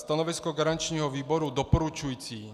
Stanovisko garančního výboru doporučující.